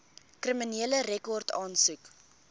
kriminele rekord aansoek